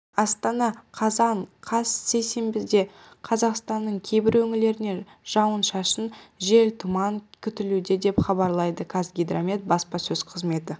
астана қазан қаз сейсенбіде қазақстанның кейбір өңірлерінде жауын-шашын жел тұман күтілуде деп хабарлайды қазгидромет баспасөз қызметі